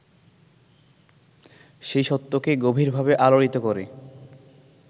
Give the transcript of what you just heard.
সেই সত্যকে গভীরভাবে আলোড়িত করে